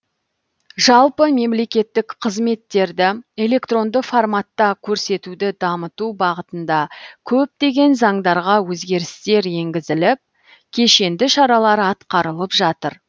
жалпы мемлекеттік қызметтерді электронды форматта көрсетуді дамыту бағытында көптеген заңдарға өзгерістер енгізіліп кешенді шаралар атқарылып жатыр